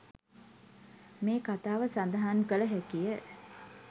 මේ කතාව සඳහන් කළ හැකිය.